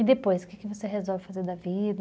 E depois, o que você resolve fazer da vida?